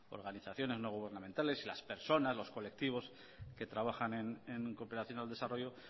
organizaciones no gubernamentales las personas los colectivos que trabajan en cooperación al desarrollo